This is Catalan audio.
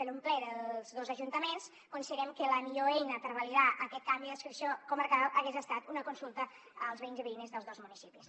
per un ple dels dos ajuntaments considerem que la millor eina per validar aquest canvi d’adscripció comarcal hagués estat una consulta als veïns i veïnes dels dos municipis